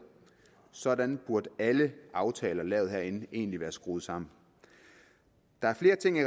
sådan burde alle de aftaler der laves herinde egentlig være skruet sammen der er flere af tingene